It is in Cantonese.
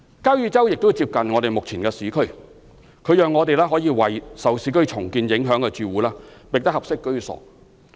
交椅洲亦接近目前的市區，可以讓我們為受市區重建影響的住戶覓得合適居所。